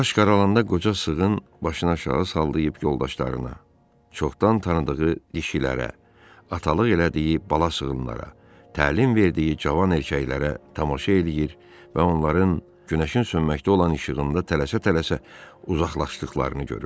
Qaranlıq qaralanda qoca sığın başını aşağı salıb yoldaşlarına, çoxdan tanıdığı dişilərə, atalıq elədiyi bala sığınlara, təlim verdiyi cavan erkəklərə tamaşa eləyir və onların günəşin sönməkdə olan işığında tələsə-tələsə uzaqlaşdıqlarını görürdü.